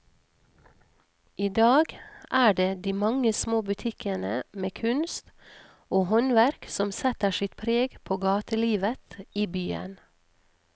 I dag er det de mange små butikkene med kunst og håndverk som setter sitt preg på gatelivet i byen.